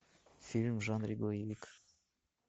фильм в жанре боевик